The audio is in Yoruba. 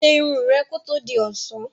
Ṣe irun rẹ kí ó tó di ọ̀sán!